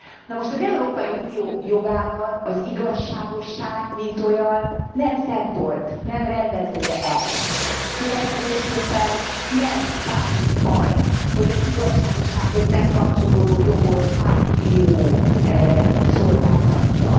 Na, most az Európai Unió jogában az igazságosság, mint olyan nem szempont, nem rendező elv, következésképpen nem számít az, hogy az igazságossághoz nem kapcsolódó jogot hány bíró szolgáltatja.